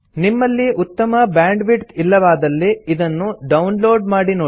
ನಿಮ್ಮಲ್ಲಿ ಉತ್ತಮ ಬ್ಯಾಂಡ್ವಿಡ್ತ್ ಇಲ್ಲವಾದಲ್ಲಿ ಇದನ್ನು ಡೌನ್ ಲೋಡ್ ಮಾಡಿ ನೋಡಿ